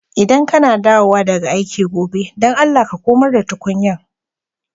ldan ka na dawowa daga aiki gobe, dan Allah ka komar da tukunyan.